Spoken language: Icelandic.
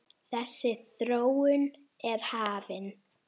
Þessi þróun er hafin.